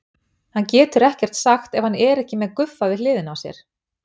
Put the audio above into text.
Hann getur ekkert sagt ef hann er ekki með Guffa við hliðina á sér.